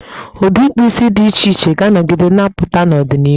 Ụdị ịkpụ isi dị iche iche ga-anọgide na-apụta n'ọdịnihu.